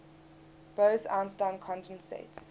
bose einstein condensates